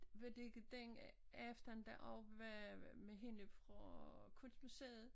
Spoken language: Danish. Var det ikke den efter den og med med hende fra kunstmuseet